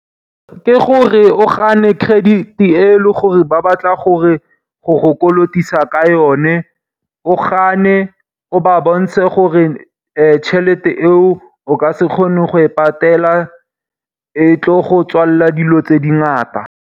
Ke gore o gane credit e leng gore ba batla go go kolotisa ka yone, o gane o ba bontshe gore tšhelete eo o ka se kgone go e patela. E tlo go tswalela dilo tse dingata.